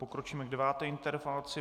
Pokročíme k deváté interpelaci.